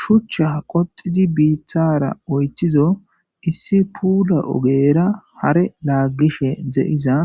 shuchcha qoxidi biithara oychizo issi puula ogera hare laaggishe de7iza